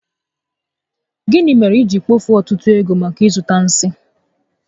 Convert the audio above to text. Gịnị mere i jiri kpofue ọtụtụ ego maka ịzụta nsi?